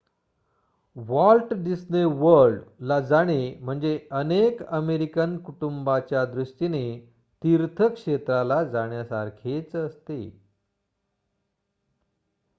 Walt Disney World ला जाणे म्हणजे अनेक अमेरिकन कुटुंबाच्या दृष्टीने तीर्थक्षेत्राला जाण्यासारखेच असते